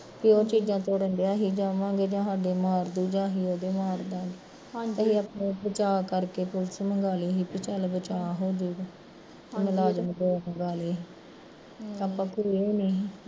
ਕਿਉ ਚੀਜ਼ਆ ਤੋੜਨ ਡੀਆ ਸੀ ਅਸੀਂ ਜਾਵਾਂਗੇ ਯਾ ਸਾਡੇ ਮਾਰਦੂ ਯਾ ਅਸੀਂ ਉਹਦੇ ਮਾਰਦਾਂਗੇ ਅਸੀਂ ਆਪਣਾ ਬਚਾਅ ਕਰਕੇ ਪੁਲਸ ਮੱਗਾ ਲਈ ਸੀ ਵੀ ਸਾਡਾ ਬਚਾਅ ਹੋਜੇਗਾ ਮੁਲਾਜਮ ਦੋ ਮੰਗਾਂ ਲਏ ਸੀ